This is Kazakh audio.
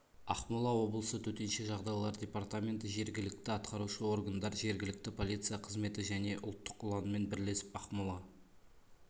ақмола облысы төтенше жағдайлар департаменті жергілікті атқарушы органдар жергілікті полиция қызметі және ұлттық ұланмен бірлесіп ақмола